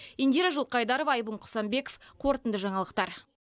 индира жылқайдарова айбын құсанбеков қорытынды жаңалықтар